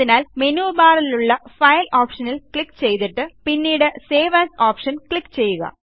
അതിനാൽ മെനു ബാറിലുള്ള ഫൈൽ ഓപ്ഷനിൽ ക്ലിക്ക് ചെയ്തിട്ട് പിന്നീട് സേവ് എഎസ് ഓപ്ഷൻ ക്ലിക്ക് ചെയ്യുക